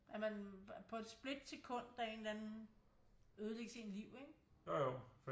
At man på et split sekund af en eller anden ødelægge sit liv ikke